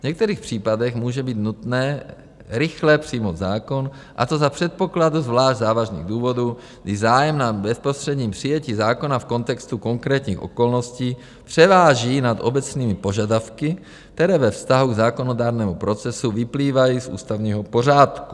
V některých případech může být nutné rychle přijmout zákon, a to za předpokladu zvlášť závažných důvodů, kdy zájem na bezprostředním přijetí zákona v kontextu konkrétních okolností převáží nad obecnými požadavky, které ve vztahu k zákonodárnému procesu vyplývají z ústavního pořádku.